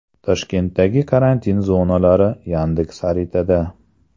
Toshkentdagi karantin zonalari Yandex-xaritada.